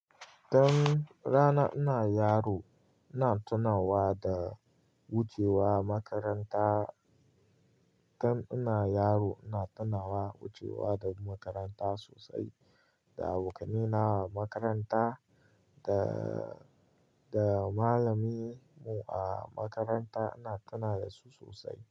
Dan rana ina yaro, ina tunawa da wucewa makaranta. Dan ina yaro, ina tunawa wucewa da makaranta sosai, da abokaina a makaranta da, da malamin mu a makaranta ina tunawa da su sosai.